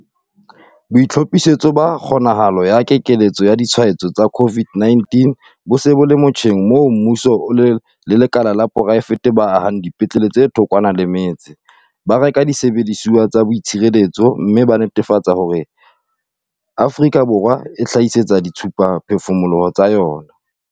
BOITLHOPHISETSO BA KGONAHALO ya keketseho ya ditshwaetso tsa COVID-19 bo se bo le motjheng moo mmuso le lekala la poraefete ba ahang dipetlele tse thokwana le metse, ba reka disebediswa tsa boitshireletso mme ba netefatsa le hore Afrika Borwa e itlhahisetsa dithusaphefumoloho tsa yona.